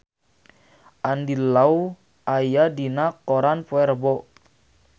Andy Lau aya dina koran poe Rebo